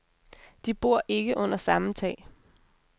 De bor ikke under samme tag.